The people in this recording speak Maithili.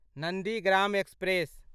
नन्दीग्राम एक्सप्रेस